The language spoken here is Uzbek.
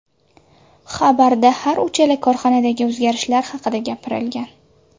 Xabarda har uchala korxonadagi o‘zgarishlar haqida gapirilgan.